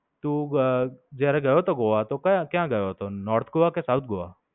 તું અમ જયારે ગયો હતો ગોવા તો કયા, ક્યાં ગયો હતો? North ગોવા કે South ગોવા?